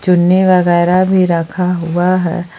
चुन्नी वगैरह भी रखा हुआ है।